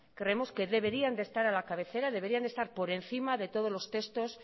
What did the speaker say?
creemos que deberían de estar a la cabecera deberían de estar por encima de todos los textos